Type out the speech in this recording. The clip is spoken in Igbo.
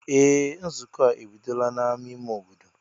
Ee! Nzukọ a ebidola n'ámá ime obodo.